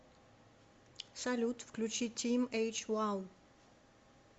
салют включи тим эйч вау